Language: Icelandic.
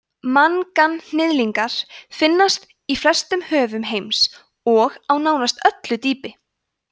manganhnyðlingar finnast í flestum höfum heims og á nánast öllu dýpi